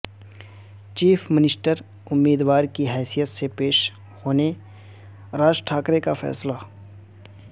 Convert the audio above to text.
chief minister امیدوار کی حیثیت سے پیش ہونے راج ٹھاکرے کا فیصلہ